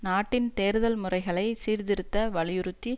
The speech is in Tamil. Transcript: நாட்டின் தேர்தல் முறைகளை சீர்திருத்த வலியுறுத்தி